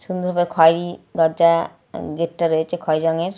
খাই গেট টা রয়েছে খয়েরি রঙের